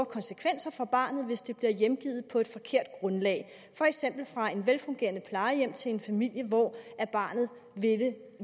konsekvenser for barnet hvis det bliver hjemgivet på et forkert grundlag for eksempel fra et velfungerende plejehjem til en familie hvor barnet ville